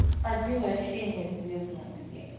один вообще неизвестно где